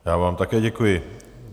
Já vám také děkuji.